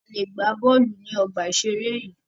A lè gbà bọ́ọ̀lù ní ọgbà ìseré yìí